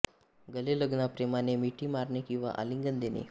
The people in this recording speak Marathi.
गले लगना प्रेमाने मिठी मारणे किंवा आलिंगन देणे